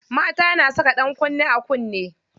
Mata na saka ɗankunne a kunne.